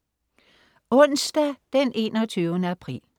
Onsdag den 21. april